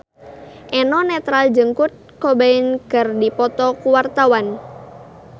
Eno Netral jeung Kurt Cobain keur dipoto ku wartawan